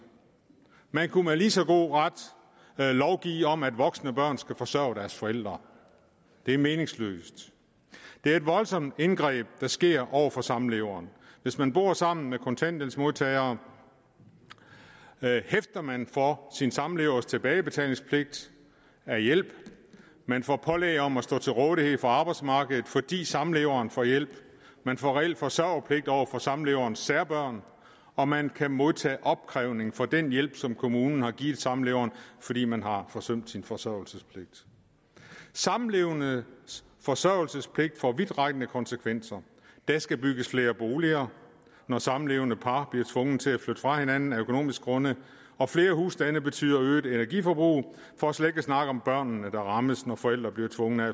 man kunne med lige så god ret lovgive om at voksne børn skal forsørge deres forældre det er meningsløst det er et voldsomt indgreb der sker over for samleveren hvis man bor sammen med en kontanthjælpsmodtager hæfter man for sin samlevers tilbagebetaling af hjælp man får pålæg om at stå til rådighed for arbejdsmarkedet fordi samleveren får hjælp man får reelt forsørgerpligt over for samleverens særbørn og man kan modtage opkrævning for den hjælp som kommunen har givet samleveren fordi man har forsømt sin forsørgelsespligt samlevendes forsørgelsespligt får vidtrækkende konsekvenser der skal bygges flere boliger når samlevende par bliver tvunget til at flytte fra hinanden af økonomiske grunde og flere husstande betyder øget energiforbrug for slet ikke at snakke om at børnene bliver ramt når forældre bliver tvunget